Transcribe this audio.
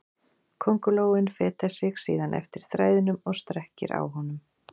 Köngulóin fetar sig síðan eftir þræðinum og strekkir á honum.